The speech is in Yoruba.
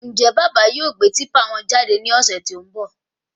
Njẹ bàbá yóò gbé típà wọn jáde ní ọsẹ tó n bọ?